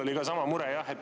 Mul oli sama mure.